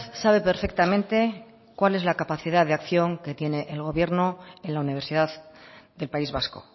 sabe perfectamente cuál es la capacidad de acción que tiene el gobierno en la universidad del país vasco